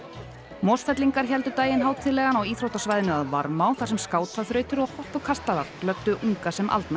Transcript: Mosfellingar héldu daginn hátíðlegan á íþróttasvæðinu að Varmá þar sem skátaþrautir og hoppukastalar glöddu unga sem aldna í